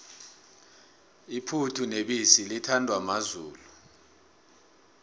iphuthu nebisi lithandwa mazulu